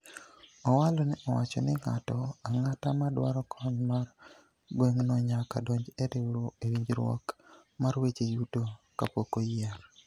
Owalo ne owacho ni ng'ato ang'ata madwaro kony mar gweng'no nyaka donj e winjruok mar weche yuto kapok oyier.